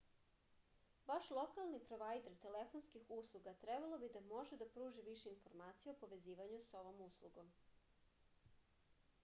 vaš lokalni provajder telefonskih usluga trebalo bi da može da pruži više informacija o povezivanju sa ovom uslugom